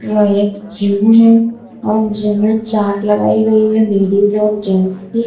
यह एक जिम है और जिम में चार्ट लगाई गई है लेडिस और जेंट्स की।